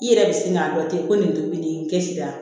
I yɛrɛ bɛ sin k'a dɔn ten ko nin tobi n kɛsi la